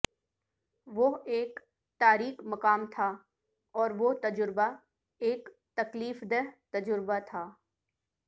وہ ایک تاریک مقام تھا اور وہ تجربہ ایک تکلیف دہ تجربہ تھا